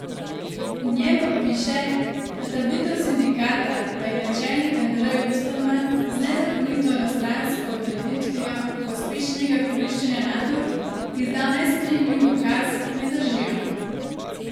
V njem pa piše, da trditve sindikata, da je načelnik Andrej Osterman z nezakonito enostransko odreditvijo pospešenega koriščenja nadur izdal nesprejemljiv ukaz, ne držijo.